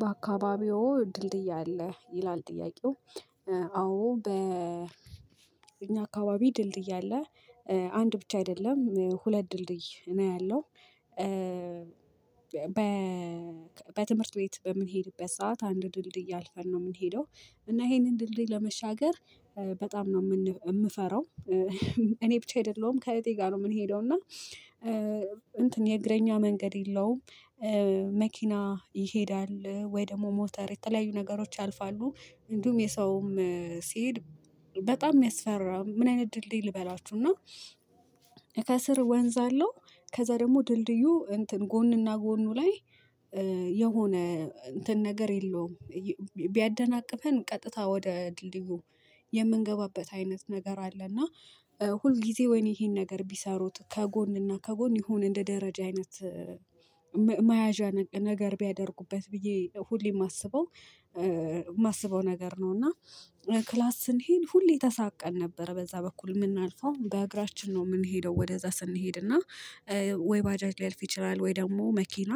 በአካባቢዎ ድልድይ አለ ይላል ጥያቄው? አዎ በ እኛ አካባቢ ድልድይ አለ አንድ ብቻ አይደለም ሁለት ድልድይ ነው ያለው። በትምህርት ቤት በምንሄድበት ሰዓት አንድ ድልድይ አልፈን ነው የምንሄደው እና ይሄንን ድልድይ ለመሻገር በጣም ነው የምንፈራው። እኔ ብቻ አይደለሁም ከእህቴ ጋር ነው የምንሄደው እና እንትን የእግረኛ መንገድ የለውም። መኪና ይሄዳል ወይ ደግሞ ሞተር የተለያዩ ነገሮች ያልፋሉ እንዲሁም የሰውም ሲሄድ በጣም የሚያስፈራ ምን አይነት ድልድይ ልበላችሁ እና። ከስር ወንዝ አለው ከዛ ደግሞ ድልድዩ እንትን ጎንና ጎኑ ላይ የሆነ እንትን ነገር የለውም። ቢያደናቅፈን ቀጥታ ወደ ድልድዩ የምንገባበት አይነት ነገር አለ። እና ሁል ጊዜ ወይኔ ይሄን ነገር ቢሰሩት ከጎንና ከጎን ይሁነ እንደ ደረጃ አይነት መያዣ ነገር ቢያደርጉበት ብዬ ሁሌም የማስበው የማስበው ነገር ነው። እና ክላስ ስንሄድ ሁሌ ተሳቀን ነበር በዛ በኩል የምናልፈው በእግራችን ነው የምንሄደው ወደዛ ስንሄድና። ወይ ባጃጅ ሊያልፍ ይችላል ወይ ደግሞ መኪና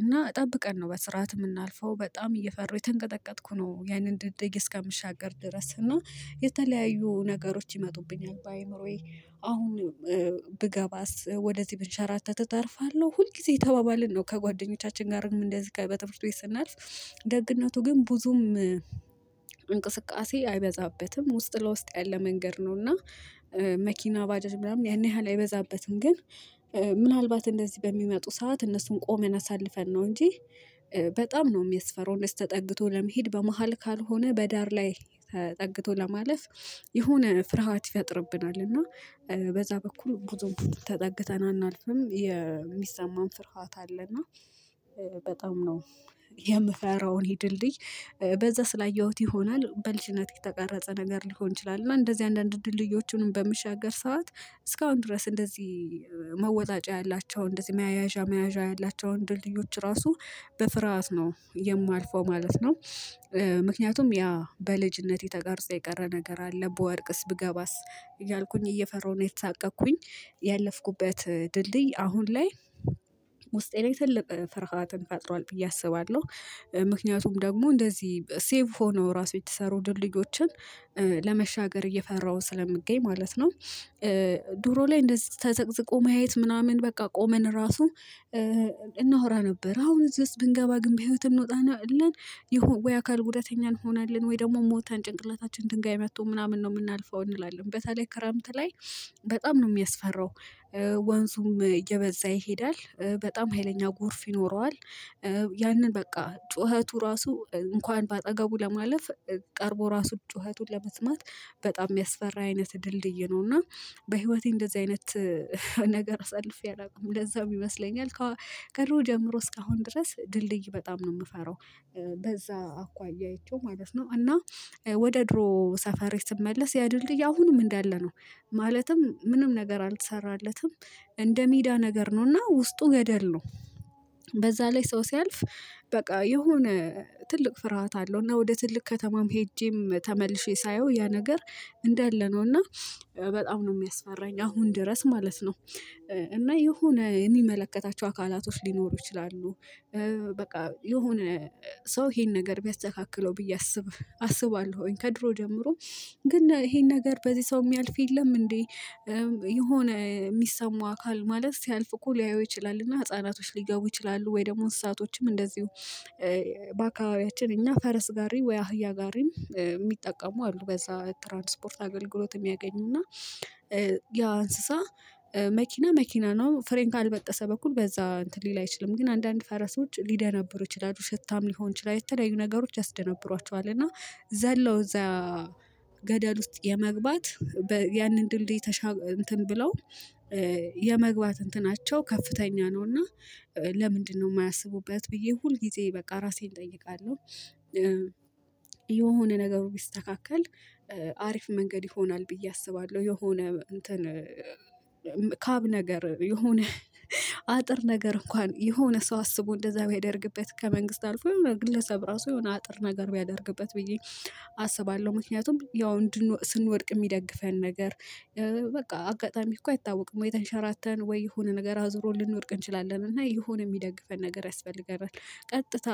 እና ጠብቀን ነው በስርዓት የምናልፈው በጣም እየፈሩ የተንቀጠቀጥኩ ነው። ያንን ድልድይ እስከምሻገር ድረስ እና የተለያዩ ነገሮች ይመጡብኛል በአእምሮዬ አሁን። ብገባስ ወደዚህ ብንሸራተት እተርፋለሁ ሁል ጊዜ እየተባባልን ነው ከጓደኞቻችን ጋርም እንደዚህ ጋር በትምህርት ቤት ስናልፍ። ደግነቱ ግን ብዙም እንቅስቃሴ አይበዛበትም ውስጥ ለውስጥ ያለ መንገድ ነውና እና መኪና ባጃጅ ምናምን ያን ያህል አይበዛበትም። ግን ምናልባት እንደዚህ በሚመጡ ሰዓት እነሱን ቆመን አሳልፈን ነው እንጂ በጣም ነው የሚያስፈራው። እንደዚህ ተጠግቶ ለመሄድ በመሃል ካልሆነ በዳር ላይ ተጠግቶ ለማለፍ የሆነ ፍርሃት ይፈጥርብናል። እና በዛ በኩል ብዙም ተጠግተን አናልፍም የሚሰማን ፍርሃት አለ እና በጣም ነው። የምፈራው ይህን ድልድይ በዛ ስላየሁት ይሆናል በልጅነት የተቀረጸ ነገር ሊሆን ይችላል እና እንደዚህ አንዳንድ ድልድዮቹንም በምሻገር ሰዓት እስካሁን ድረስ እንደዚህ መወጣጫ ያላቸው እንደዚህ መያዣ መያዣ ያላቸው ድልድዮች ራሱ በፍርሃት ነው የማልፈው ማለት ነው። ምክንያቱም ያ በልጅነት የተቀረጸ የቀረ ነገር አለ ብወድቅስ ብገባስ እያልኩኝ እየፈራሁ ነው እየተሳቀቅኩኝ ያለፍኩበት ድልድይ አሁን ላይ ውስጤ ላይ ትልቅ ፍርሃትን ፈጥሯል ብዬ አስባለሁ። ምክንያቱም ደግሞ እንደዚህ ሴፍ ሆነው ራሱ የተሰሩ ድልድዮችን ለመሻገር እየፈራው ስለሚገኝ ማለት ነው። ድሮ ላይ እንደዚህ ተዘቅዝቆ ማየት ምናምን በቃ ቆመን ራሱ እናወራ ነበር አሁን እዚህ ውስጥ ብንገባ ግን በህይወት እንወጣለን። የሆነ ወይ አካል ጉዳተኛ እንሆናለን ወይ ደግሞ ሞተን ጭንቅላታችን ድንጋይ መጥቶ ምናምን ነው የምናልፈው እንላለን በተለይ ክረምት ላይ በጣም ነው የሚያስፈራው። እየበዛ ይሄዳል በጣም ሀይለኛ ጎርፍ ይኖረዋል። ያንን በቃ ጩኸቱ ራሱ እንኳን በአጠገቡ ለማለፍ ቀርቦ ራሱ ጩኸቱን ለመስማት በጣም የሚያስፈራ አይነት ድልድይ ነው። እና በህይወቴ እንደዚህ አይነት ነገር አሳልፌ አላውቅም ለዛም ይመስለኛል። ከድሮ ጀምሮ እስካሁን ድረስ ድልድይ በጣም ነው የምፈራው። በዛ አኳያ አይቸው ማለት ነው እና ወደ ድሮ ሰፈሬ ስመለስ ያ ድልድይ አሁንም እንዳለ ነው። ማለትም ምንም ነገር አልተሰራለትም። እንደ ሜዳ ነገር ነው እና ውስጡ ገደል ነው። በዛ ላይ ሰው ሲያልፍ በቃ የሆነ ትልቅ ፍርሃት አለው እና ወደ ትልቅ ከተማም ሄጄም ተመልሼ ሳየው ያ ነገር እንዳለ ነው እና በጣም ነው የሚያስፈራኝ አሁን ድረስ ማለት ነው። እና የሆነ የሚመለከታቸው አካላቶች ሊኖሩ ይችላሉ። በቃ የሆነ ሰው ይሄን ነገር ቢያስተካክለው ብዬ አስብ አስባለሁኝ ከድሮ ጀምሮ ግን ይሄን ነገር በዚህ ሰው የሚያልፍ የለም እንዴ? የሆነ የሚሰማው አካል ማለት ሲያልፍ እኮ ሊያየው ይችላል። እና ህፃናቶች ሊገቡ ይችላሉ ወይ ደግሞ እንስሳቶችም እንደዚሁ። በአካባቢያችን እኛ ፈረስ ጋሪ ወይ አህያ ጋሪም የሚጠቀሙ አሉ በዛ ትራንስፖርት አገልግሎት የሚያገኙና። ያ እንስሳ መኪና መኪና ነው ፍሬን ካልበጠሰ በኩል በዛ እንትን ሊል አይችልም። ግን አንዳንድ ፈረሶች ሊደነብሩ ይችላሉ ሽታም ሊሆን ይችላሉ የተለያዩ ነገሮች ያስደነብሯቸዋል። እና ዘለው እዛ ገደል ውስጥ የመግባት ያንን ድልድይ ተሻግረው እንትን ብለው የመግባት እንትናቸው ከፍተኛ ነውና። ለምንድነው የማያስቡበት ብዬ ሁል ጊዜ በቃ ራሴን እጠይቃለሁ። የሆነ ነገሩ ቢስተካከል አሪፍ መንገድ ይሆናል ብዬ አስባለሁ። የሆነ እንትን ካብ ነገር የሆነ አጥር ነገር እንኳን የሆነ ሰው አስቦ እንደዛ ቢያደርግበት ከመንግስት አልፎ የሆነ ግለሰብ ራሱ የሆነ አጥር ነገር ቢያደርግበት ብዬ። አስባለሁ ምክንያቱም ያው ስንወድቅ የሚደግፈን ነገር በቃ አጋጣሚ እኮ አይታወቅም ወይ ተንሸራተን ወይ የሆነ ነገር አዙሮ ልንወድቅ እንችላለን እና የሆነ የሚደግፈን ነገር ያስፈልገናል። ቀጥታ